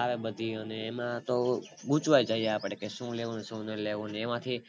આવે અને એમાં તો હું ગુંચવાય જઈ આપડે શું લેવું ને શું ન લેવું એમાંથી